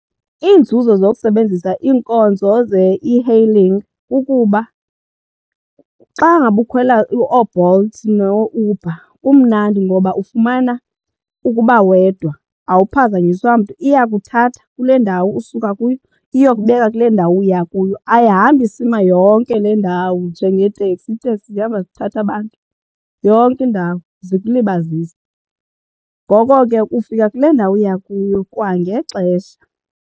Iinzuzo zokusebenzisa iinkonzo ze-e-hailing kukuba xa ngaba ukhwela ooBolt nooUber kumnandi ngoba ufumana ukuba wedwa awuphazanyiswa mntu. Iyakuthatha kule ndawo usuka kuyo iyokubeka kule ndawo uya kuyo ayihambi isima yonke le ndawo njengeeteksi, iiteksi zihamba zithatha abantu yonke indawo zikulibazise. Ngoko ke ufika kule ndawo uya kuyo kwangexesha.